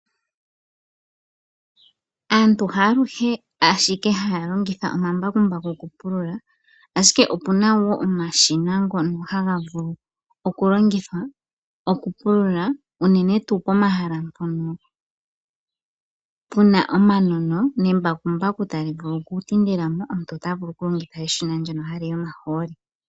Aantu haluhe holongitha omambakumbaku okupulula ashike opuna wo omashina ngono hangavulu okulongithwa okupulula unene tu pomahala ngono puna omanono nembakumbaku talivulu okutindilamo omuntu otavulu oku longithwa eshina ndono haliyi omaholi.